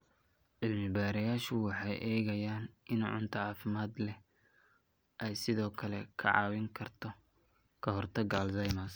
Cilmi-baarayaashu waxay eegayaan in cunto caafimaad leh ay sidoo kale ka caawin karto ka hortagga Alzheimers.